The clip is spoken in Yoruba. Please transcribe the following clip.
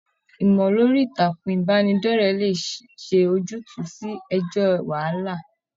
ìmọ lórí ìtàkùn ìbánidọ̀rẹ̀ lè ṣe ojutu sí ẹjọ wàhálà.